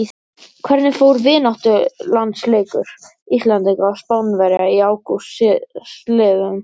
Hvernig fór vináttulandsleikur Íslendinga og Spánverja í ágúst síðastliðnum?